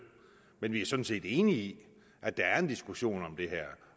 men vi er sådan set enige i at der er en diskussion om det her